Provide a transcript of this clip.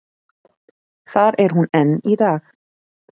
Þar er hún enn í dag.